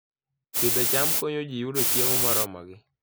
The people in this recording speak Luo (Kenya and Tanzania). Pidho cham konyo ji yudo chiemo moromogi